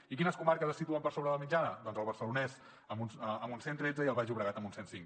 i quines comarques es situen per sobre de la mitjana doncs el barcelonès amb un cent i tretze i el baix llobregat amb un cent i cinc